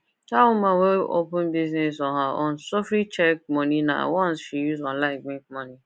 that woman wey open business on her own sufree check money nah once she use online make money